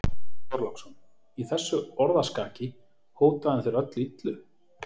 Björn Þorláksson: Í þessu orðaskaki, hótaði hann þér þá öllu illu?